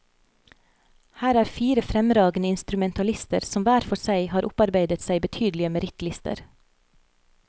Her er fire fremragende instrumentalister som hver for seg har opparbeidet seg betydelige merittlister.